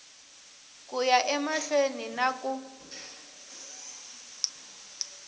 ku ya emahlweni na ku